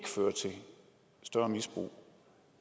større misbrug